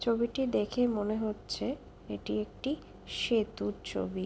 ছবিটি দেখে মনে হচ্ছে এটি একটি সেতুর ছবি ।